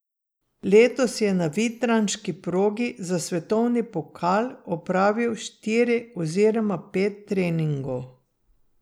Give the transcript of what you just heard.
Letos je na vitranški progi za svetovni pokal opravil štiri oziroma pet treningov.